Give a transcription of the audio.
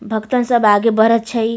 भक्तन सब आगे बढ़े छै।